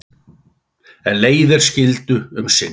En leiðir skildu um sinn.